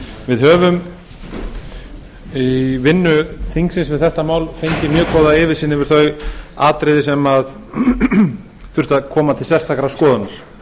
við höfum í vinnu þingsins um þetta mál fengið mjög góða yfirsýn yfir þau atriði sem þurftu að koma til sérstakrar skoðunar